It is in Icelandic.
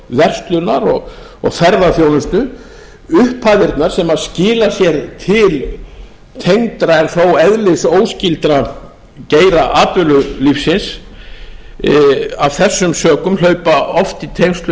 verslunar og ferðaþjónustu upphæðirnar sem skila sér til tengdra en þó eðlisóskyldra geira atvinnulífsins af þessum sökum hlaupa oft í tengslum við